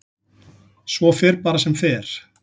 Svo fer bara sem fer.